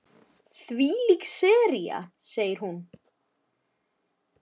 Þvílík sería sagði hún.